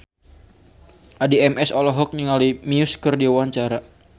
Addie MS olohok ningali Muse keur diwawancara